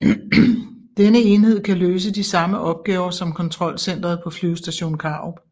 Denne enhed kan løse de samme opgaver som kontrolcentret på Flyvestation Karup